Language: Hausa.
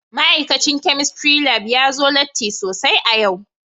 Ma'aikacin Chemistry Lab ya zo latti sosai a yau